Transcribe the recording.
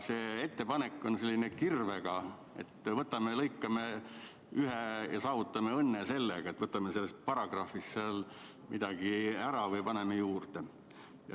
See ettepanek on nagu kirvega tehtud, et võtame ja lõikame – saavutame õnne sellega, et võtame sellest paragrahvist midagi ära või paneme juurde.